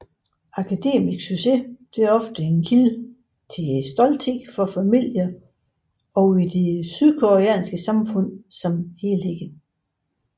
Akademisk succes er ofte en kilde til stolthed for familier og i det sydkoreanske samfund som helhed